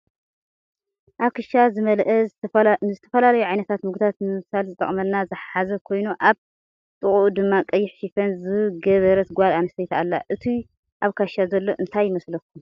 ኣብ ክሻ ዝመልኣ ንዝተፈላለዩ ዓይነት ምግብታት ንምብሳል ዝጠቅመና ዝሓዘ ኮይኑ ኣብ ጥቅኡ ድማ ቀይሕ ሽፈን ዝገበረት ጎል ኣንስትየቲ ኣላ። እቱይ ኣብ ክሻ ዘሎ እንታይ ይመስለኩም?